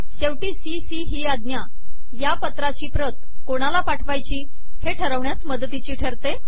शेवटी C C ही आज्ञा या पत्राची प्रत कोणाला पाठवायची हे ठरविण्यास मदतीची ठरते